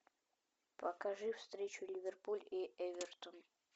покажи встречу ливерпуль и эвертон